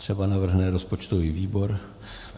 Třeba navrhne rozpočtový výbor.